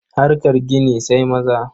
Harkar gini sai maza.